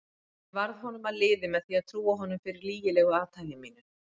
Ég varð honum að liði með því að trúa honum fyrir lygilegu athæfi mínu.